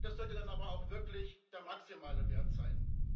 Das sollte dann aber auch wirklich der maximale Wert sein.